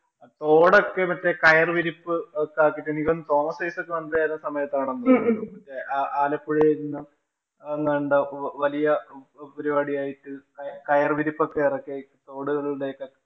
തോടൊക്കെ മറ്റേ കയര്‍വിരിപ്പ് തോന്നുന്നു തോമസ്‌ ഐസക്ക് വന്ന സമയത്ത് ആണെന്ന് തോന്നുന്നു. മറ്റേ ആലപ്പുഴയില്‍ നിന്നും വലിയ പരിപാടി ആയിട്ട് കയര്‍ വിരിപ്പ് ഒക്കെ എറക്കി തോടുകളുടെ ഒക്കെ